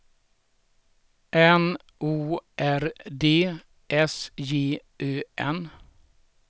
N O R D S J Ö N